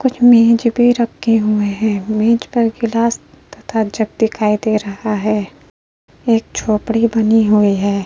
कुछ मेज पे रखे हुए हैं। मेज पर ग्लास तथा जग दिखाई दे रहा है। एक झोपड़ी बनी हुई है।